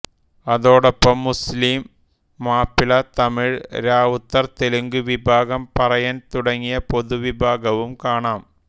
അതോടൊപ്പം മുസ്ലിം മാപ്പിള്ള തമിഴ് രാവുത്തർ തെലുങ്ക് വിഭാഗം പറയൻ തുടങ്ങിയ പൊതു വിഭാഗവും കാണാം